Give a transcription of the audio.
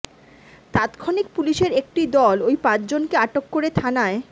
তাৎক্ষণিক পুলিশের একটি দল ওই পাঁচজনকে আটক করে থানায়